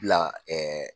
Bila